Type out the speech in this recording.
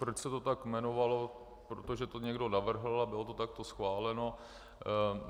Proč se to tak jmenovalo - protože to někdo navrhl a bylo to takto schváleno.